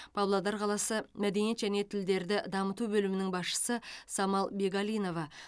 павлодар қаласы мәдениет және тілдерді дамыту бөлімінің басшысы самал бегалинова